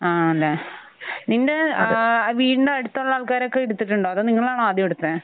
ആണല്ലേ. നിന്റെ ഏഹ് വീടിന്റെ അടുത്തുള്ള ആൾക്കാരൊക്കെ എടുത്തിട്ടുണ്ടോ അതോ നിങ്ങളാണോ ആദ്യം എടുത്തത്?